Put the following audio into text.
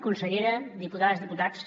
consellera diputades diputats